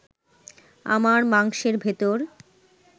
আমার মাংসের ভেতর